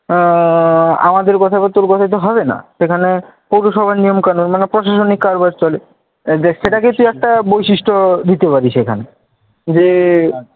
আহ আমাদের কথা তোর কথায় তো হবে না। সেখানে পৌরসভার নিয়মকানুন মানে প্রসাশনিক কারবার চলে আর দেখ সেটাকে তুই একটা বৈশিষ্ট্য দিতে পারিস এখানে। যে